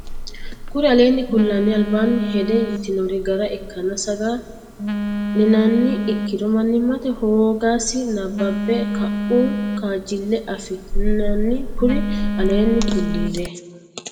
Kuri aleenni kullire albaanni hedde yitinori gara ikkanna saga linanniha ikkiro mannimmate hoogasi nabbabbe ka uhu kaajjille afi nanni Kuri aleenni kullire.